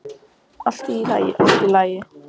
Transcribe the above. Allt í lagi, allt í lagi.